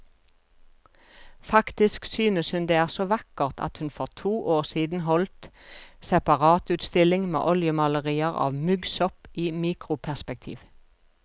Faktisk synes hun det er så vakkert at hun for to år siden holdt separatutstilling med oljemalerier av muggsopp i mikroperspektiv.